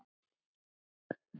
Ara er vel til hans.